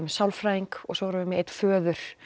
sálfræðing og svo erum við með einn föður